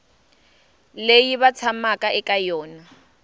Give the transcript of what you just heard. leyi va tshamaka eka yona